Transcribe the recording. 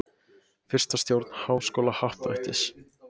Fyrsta stjórn Háskólahappdrættis.